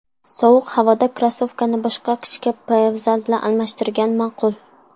Sovuq havoda krossovkani boshqa qishki poyabzal bilan almashtirgan ma’qul.